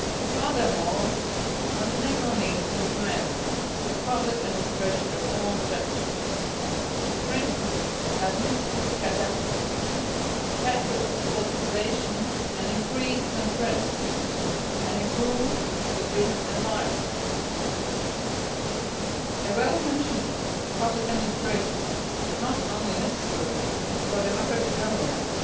Furthermore, Montenegro needs to implement the public administration reform strategy and strengthen administrative capacity, tackle politicisation, increase transparency, and improve the business environment. A well functioning public administration is not only necessary for democratic governance,